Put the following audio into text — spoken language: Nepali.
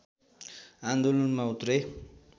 आन्दोलनमा उत्रे